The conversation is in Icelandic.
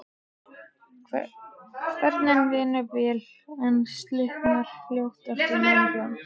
Kvörnin vinnur vel, en slitnar fljótt af núningnum.